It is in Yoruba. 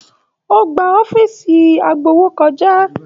O gbà iwájú ọ̀fiísí agbowó kọjá.